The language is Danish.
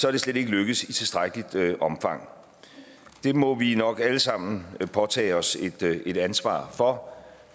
er det slet ikke lykkedes i tilstrækkeligt omfang det må vi nok alle sammen påtage os et ansvar for